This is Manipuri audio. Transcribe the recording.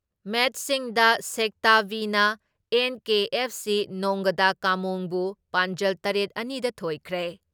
ꯃꯦꯠꯁꯁꯤꯡꯗ ꯁꯦꯛꯇꯥ ꯕꯤ ꯅ ꯑꯦꯟ.ꯀꯦ.ꯑꯦꯐ.ꯁꯤ ꯅꯣꯉꯥꯗꯥꯀꯥꯃꯣꯡ ꯕꯨ ꯄꯥꯟꯖꯜ ꯇꯔꯦꯠ ꯑꯅꯤ ꯗ ꯊꯣꯏꯈ꯭ꯔꯦ ꯫